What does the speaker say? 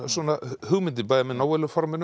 hugmyndin bæði með